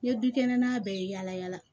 N ye dukɛnɛn bɛɛ ye yala yala